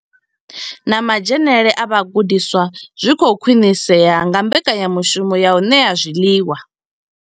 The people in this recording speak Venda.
Na madzhenele a vhagudiswa zwi khou khwinisea nga mbekanyamushumo ya u ṋea zwiḽiwa.